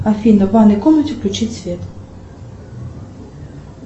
афина в ванной комнате включить свет